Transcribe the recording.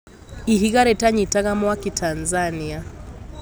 Ihiga rĩtanyitaga mwaki Tanzania.